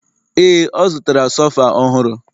Ee, ọ zụtara sofa ọhụrụ